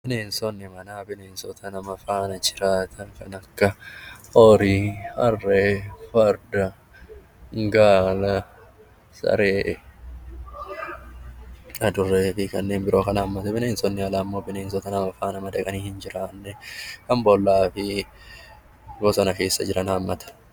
Bineensonni manaa kan nama faana jiraatan kan akka horii, harree, farda, gaala, saree adurree fi kanneen biroo kan hammatan. Bineensonni alaa immoo bineensota nama faana madaqanii hin jiraanne kan boollaa fi bosona keessa jiran hammata.